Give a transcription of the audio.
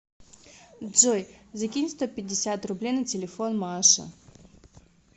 джой закинь сто пятьдесят рублей на телефон маше